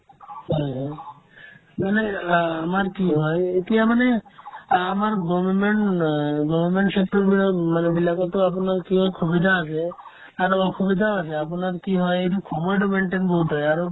হয় হয় মানে আ ~ আমাৰ কি হয় এতিয়া মানে আ ~ আমাৰ government অ government sector বিলাক মানুহবিলাকৰতো আপোনাৰ কি হয় সুবিধা আছে আৰু অসুবিধাও আছে আপোনাৰ কি হয় এইটো সময়তো maintain বহুত হয় আৰু